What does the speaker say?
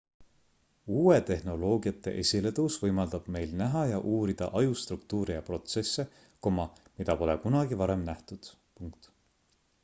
uute tehnoloogiate esiletõus võimaldab meil näha ja uurida aju struktuure ja protsesse mida pole kunagi varem nähtud